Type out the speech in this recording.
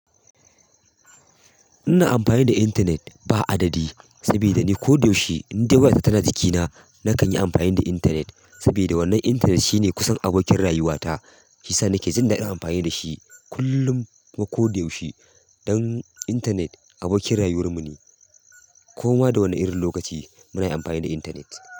Ina amfani da intanet ba adadi, sabida ni ko da yaushe in dai wayata tana jikina nakan yi amfani da intanet. Sabida wannan intanet shine kusan abokin rayuwata. Shiyasa nake jin daɗin amfani da shi kullum kuma ko da yaushe. Don intanet abokin rayuwar mu ne. Kowa da wani irin lokaci munayi amfani da intanet.